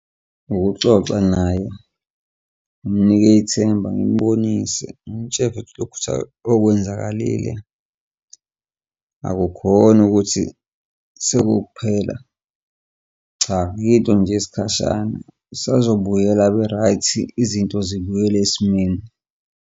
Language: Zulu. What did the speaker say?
Ukuxoxa naye ngimnike ithemba ngimubonise ngimtshele lokutha okwenzakalile akukhona ukuthi sekuwukuphela, cha yinto nje eyisikhashana, isazobuyela ibe-right, izinto zibuyele esimweni.